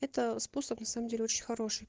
это способ на самом деле очень хороший